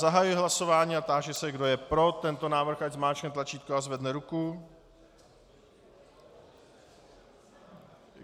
Zahajuji hlasování a táži se, kdo je pro tento návrh, ať zmáčkne tlačítko a zvedne ruku.